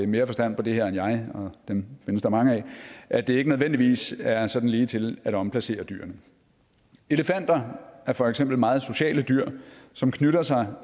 mere forstand på det her end mig og dem findes der mange af at det ikke nødvendigvis er sådan ligetil at omplacere dyrene elefanter er for eksempel meget sociale dyr som knytter sig